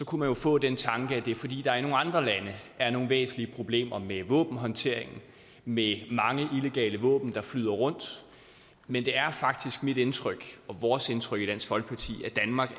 kunne man få den tanke at det er fordi der i nogle andre lande er nogle væsentlige problemer med våbenhåndteringen med mange illegale våben der flyder rundt men det er faktisk mit indtryk og vores indtryk i dansk folkeparti at danmark